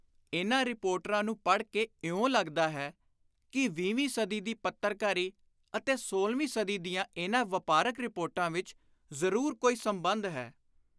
ਇਨ੍ਹਾਂ ਰੀਪੋਰਟਾਂ ਨੂੰ ਪੜ੍ਹ ਕੇ ਇਉਂ ਲੱਗਦਾ ਹੈ ਕਿ ਵੀਹਵੀਂ ਸਦੀ ਦੀ ਪੱਤਰਕਾਰੀ ਅਤੇ ਸੋਲ੍ਹਵੀਂ ਸਦੀ ਦੀਆਂ ਇਨ੍ਹਾਂ ਵਾਪਾਰਕ ਰੀਪੋਰਟਾਂ ਵਿਚ ਜ਼ਰੂਰ ਕੋਈ ਸੰਬੰਧ ਹੈ।